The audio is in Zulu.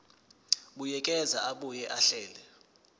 buyekeza abuye ahlele